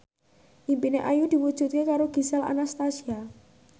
impine Ayu diwujudke karo Gisel Anastasia